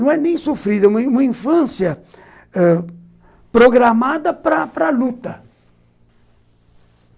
não é nem sofrida, uma uma infância ãh programada para a luta.